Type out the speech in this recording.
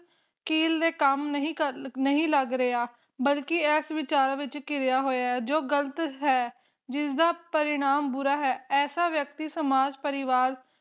ਕੀਲ ਦੇ ਕੰਮ ਨਹੀਂ ਲਗ ਰਿਹਾ ਬਲਕਿ ਇਸ ਵਿਚਾਰਾਂ ਵਿਚ ਘਿਰਿਆ ਹੋਇਆ ਜੋ ਗ਼ਲਤ ਹੈ ਜਿਸਦਾ ਪਰਿਣਾਮ ਬੁਰਾ ਹੈ ਇਸ ਵਿਅਕਤੀ ਸਮਾਜ ਪਰਿਵਾਰ